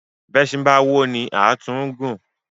Bí èsìn ba woni lù ilé a tún gun ún.